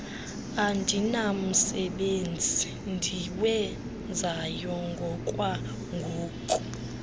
andinamsebenzi ndiwenzayo ngokwangoku